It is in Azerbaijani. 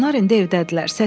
Onlar indi evdədirlər.